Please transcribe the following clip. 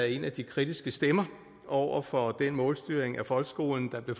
en af de kritiske stemmer over for den målstyring af folkeskolen der blev